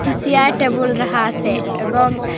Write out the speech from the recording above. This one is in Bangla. পি সিয়ার টেবল রাহা আসে এবং--